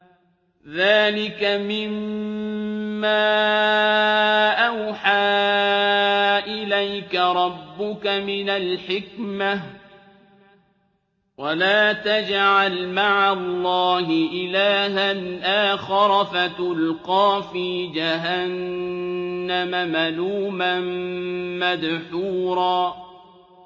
ذَٰلِكَ مِمَّا أَوْحَىٰ إِلَيْكَ رَبُّكَ مِنَ الْحِكْمَةِ ۗ وَلَا تَجْعَلْ مَعَ اللَّهِ إِلَٰهًا آخَرَ فَتُلْقَىٰ فِي جَهَنَّمَ مَلُومًا مَّدْحُورًا